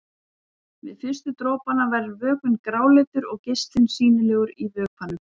Við fyrstu dropana verður vökvinn gráleitur og geislinn sýnilegur í vökvanum.